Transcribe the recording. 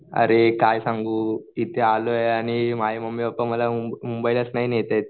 अरे काय सांगू इथे आलोय आणि माझे मम्मी पप्पा मला मुंबईलाच नाही नेत आहेत.